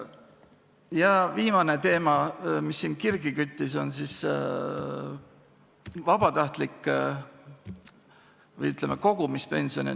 Ja viimane teema, mis siingi kirgi on kütnud, on vabatahtlik või, ütleme, kogumispension.